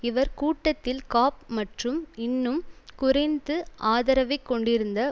இவர் கூட்டத்தில் காப் மற்றும் இன்னும் குறைந்து ஆதரவைக் கொண்டிருந்த